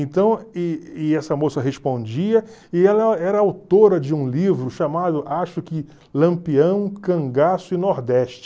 Então e e essa moça respondia, e ela era autora de um livro chamado, acho que, Lampião, Cangaço e Nordeste.